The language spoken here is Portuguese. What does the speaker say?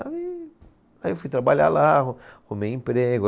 Aí, aí eu fui trabalhar lá, arru rrumei emprego.